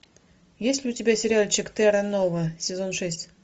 есть ли у тебя сериальчик терра нова сезон шесть